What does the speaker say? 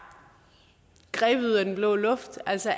grebet ud af den blå luft altså